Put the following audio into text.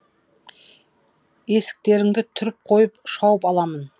есіктеріңді түріп қойып шауып аламын